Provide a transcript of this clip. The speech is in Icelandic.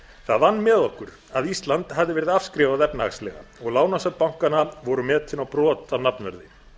það vann með okkur að ísland hafði verið afskrifað efnahagslega og lánasöfn bankanna voru metin á brot af nafnverði